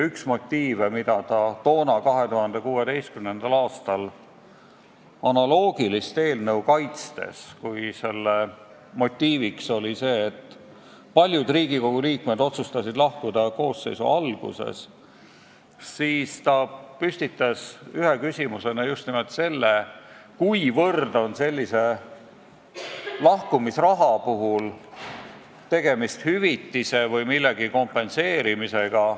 Üks motiiv, mis 2016. aastal analoogilist eelnõu kaitstes kõlas, oli see, et kuna paljud Riigikogu liikmed otsustasid lahkuda koosseisu töö alguses, siis tekkis just nimelt küsimus, mil määral on sellise lahkumisraha näol tegemist hüvitise või millegi kompenseerimisega.